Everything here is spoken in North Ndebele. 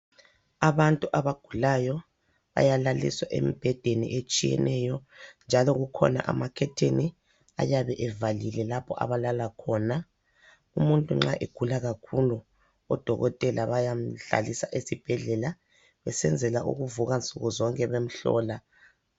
Abantu abagulayo bayalaliswa embhedeni etshiyeneyo njalo kukhona amakhetheni ayabe evalile lapho abalala khona. Umuntu nxa egula kakhulu, odokotela bayamhlalisa esibhedlela besenzela ukuvuka nsuku zonke bemhlola.